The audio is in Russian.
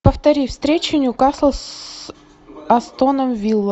повтори встречу ньюкасл с астоном вилла